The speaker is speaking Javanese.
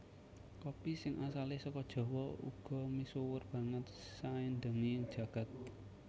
Kopi sing asalé saka Jawa uga misuwur banget saindenging jagat